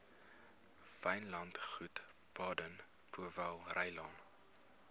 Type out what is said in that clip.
wynlandgoed baden powellrylaan